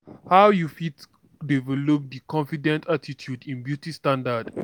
how you fit develop di confident attitude in beauty standard?